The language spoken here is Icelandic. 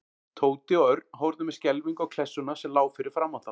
Tóti og Örn horfðu með skelfingu á klessuna sem lá fyrir framan þá.